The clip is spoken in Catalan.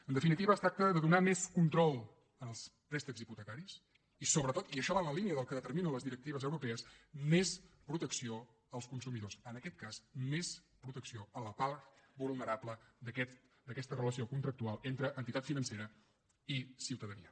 en definitiva es tracta de donar més control en els préstecs hipotecaris i sobretot i això va en la línia del que determinen les directives europees més protecció als consumidors en aquest cas més protecció a la part vulnerable d’aquesta relació contractual entre entitat financera i ciutadania